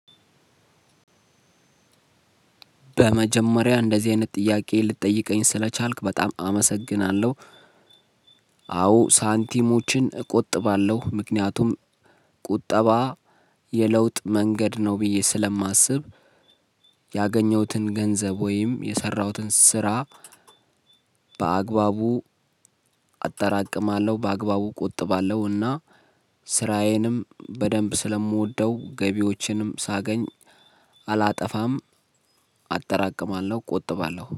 በመጀመሪያ እንደዚህ አይነት ጥያቄ ልትጠይቀኝ ስለቻልክ በጣም አመሰግናለሁ። አዎ ሳንቲሞችን እቆጥባለሁ ምክንያቱም ቁጠባ የለውጥ መንገድ ነው ብዬ ሰላማስብ። ያገኘሁትን ገንዘብ ወይም የሰራሁትን ስራ። በአግባቡ አጠራቅማለሁ በአግባቡ ቆጥባለሁና። ስራዬንም በደንብ ስለምወደው ገቢዎችንም ሳገኝ አላጠፋም አጠራቅማለሁ ቆጥባለሁ